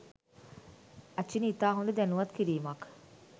අචිනි ඉතා හොඳ දැනුවත් කිරීමක්